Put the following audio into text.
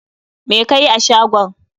Me kayi a cikin shagon?